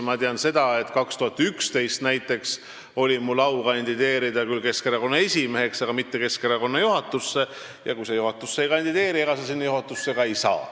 Ma tean, et näiteks 2011. aastal oli mul au kandideerida küll Keskerakonna esimeheks, aga mitte Keskerakonna juhatusse, ja kui sa juhatusse ei kandideeri, siis ega sa sinna ka ei saa.